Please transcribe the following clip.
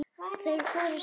Þeir fóru saman á tehús.